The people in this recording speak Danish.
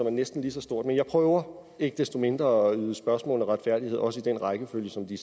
er næsten lige så stort men jeg prøver ikke desto mindre at yde spørgsmålene retfærdighed også i den rækkefølge som de